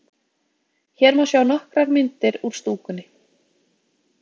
Hér má sjá nokkrar myndir úr stúkunni.